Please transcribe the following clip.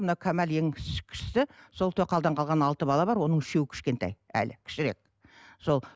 мына камалияң кішісі сол тоқалдан қалған алты бала бар оның үшеуі кішкентай әлі кішірек сол